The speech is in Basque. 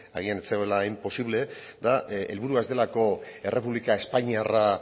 agian ez zegoela hain posible eta helburua ez delako errepublika espainiarra